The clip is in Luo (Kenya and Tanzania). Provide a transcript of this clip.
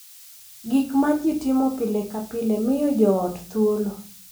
Gik ma ji timo pile ka pile miyo jo ot thuolo .